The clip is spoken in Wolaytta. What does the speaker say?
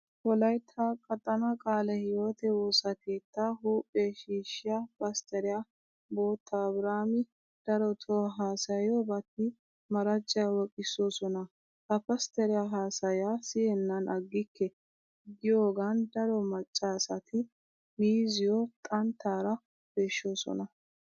Wolaytta qaxanaa qaale hiwoote woosa keettaa huuphe shiishshiya pastteriya bota abiraami darotoo haasayiyobati maracciya wooqissoosona. Ha pastteriya haasayaa siyennan aggikke giyogan daro maccaasati miizziyo xanttaara peeshshoosona.